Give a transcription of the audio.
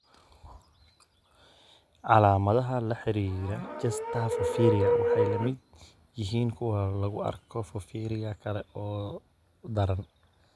Calaamadaha la xidhiidha Chester porphyria waxay la mid yihiin kuwa lagu arkay porphyria kale oo daran.